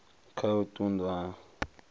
kha u ṱun ḓwa ha